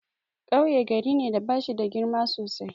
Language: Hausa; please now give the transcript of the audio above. Kauye gari ne da bashida girma sosai.